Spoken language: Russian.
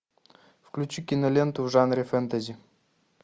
включи киноленту в жанре фэнтези